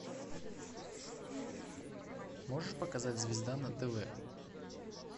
можешь показать звезда на тв